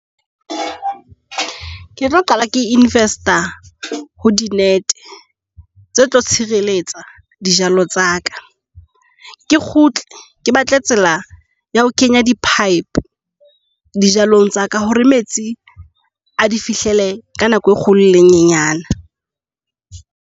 Ke tlo qala ke invest-a ho di-net-e tse tlo tshireletsa dijalo tsa ka. Ke kgutle ke batle tsela ya ho kenya di-pipe dijalong tsa ka hore metsi a di fihlele ka nako e kgolo le e nyanana.